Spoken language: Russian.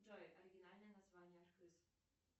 джой оригинальное название архыз